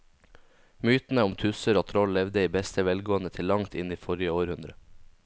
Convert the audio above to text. Mytene om tusser og troll levde i beste velgående til langt inn i forrige århundre.